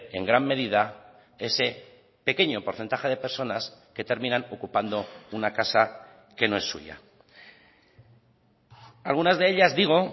en gran medida ese pequeño porcentaje de personas que terminan ocupando una casa que no es suya algunas de ellas digo